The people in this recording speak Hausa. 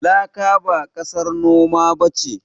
Laka ba ƙasar noma ba ce.